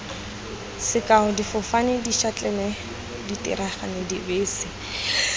sekao difofane dišatlelle diterena dibese